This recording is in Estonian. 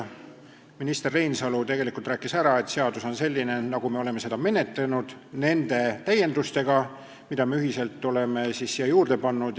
Minister Reinsalu tegelikult rääkis ära, et seadus on nüüd selline, nagu me oleme seda menetlenud, nende täiendustega, mida me ühiselt oleme siia juurde pannud.